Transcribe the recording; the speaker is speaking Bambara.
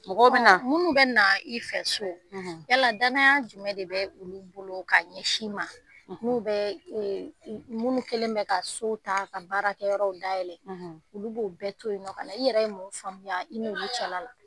Mɔgɔ bɛ na. Munnu bɛ na i fɛ so, yala danaya jumɛn de bɛ olu bolo ka ɲɛsin i ma n'u bɛ ee munnu kɛlen bɛ ka so ta ka baara kɛ yɔrɔw dayɛlɛ. Olu b'o bɛɛ to yen nɔ ka na, i yɛrɛ ye mun faamuya i n'olu cɛla la ?